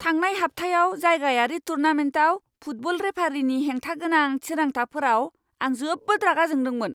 थांनाय हाबथायाव जायगायारि टुर्नामेन्टआव फुटबल रेफारीनि हेंथा गोनां थिरांथाफोराव आं जोबोद रागा जोंदोंमोन।